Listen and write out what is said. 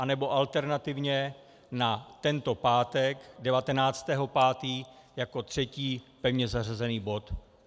Anebo alternativně na tento pátek 19. 5. jako třetí pevně zařazený bod.